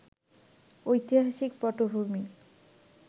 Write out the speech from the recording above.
ঐতিহাসিক পটভূমি